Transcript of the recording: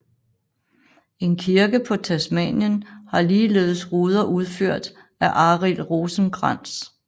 En kirke på Tasmanien har ligeledes ruder udført af Arild Rosenkrantz